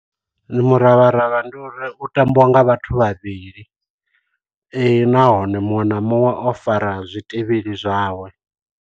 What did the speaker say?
Muravharavha ndi uri u tambiwa nga vhathu vhavhili nahone muṅwe na muṅwe o fara zwitivhili zwawe.